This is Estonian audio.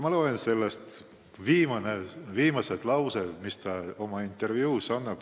Ma loen ette viimased laused, mis ta oma intervjuus ütles.